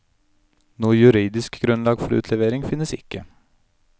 Noe juridisk grunnlag for utlevering finnes ikke.